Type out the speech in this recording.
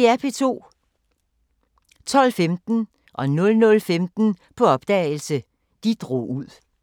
12:15: På opdagelse – De drog ud 00:15: På opdagelse – De drog ud